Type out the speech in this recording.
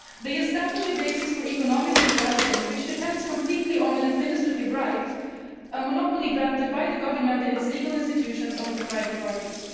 They establish a basis for economic interaction which depends completely on an administrative right, a monopoly granted by the government and its legal institutions to private parties.